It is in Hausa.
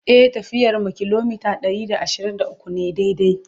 e tafiyar mu kilometa Ɗari da ashirin da ukwu ne daidai